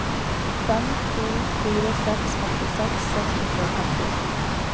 fem to fire seks femtiseks seks hundre og femtini